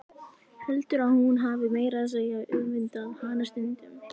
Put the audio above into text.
Heldur að hún hafi meira að segja öfundað hana stundum.